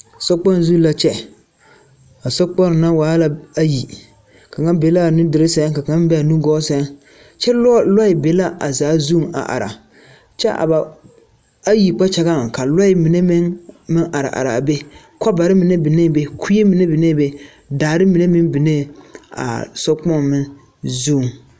Sokpoŋ zu la kyɛ, a sokponne waa la ayi, kaŋa be a nuduloŋ sɛŋ ka kaŋa be a nugɔɔ sɛŋ, kyɛ lɔɛ be la a zaa zu a are, kyɛ a ba ayi kpakyaŋɛ, ka lɔɛ mine meŋ are are a be, kɔbare mine binnee be kue mine binnee be, daare mine meŋ binnee a sokpoŋ zuŋ.